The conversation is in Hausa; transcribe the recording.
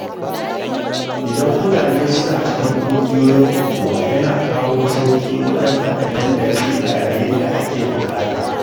Idan mutune suna cikin kungiyoyin unguwa, yana kawo sauƙi wajen haɗa tallafi a yayin da aka buƙata.